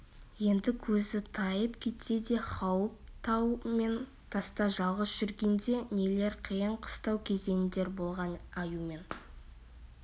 енді көзі тайып кетсе де хауіп тау мен таста жалғыз жүргенде нелер қиын-қыстау кезеңдер болған аюмен